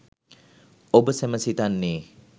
ඔබ සැම සිතන්නේ